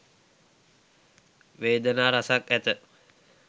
වේදනා රැසක් ඇත.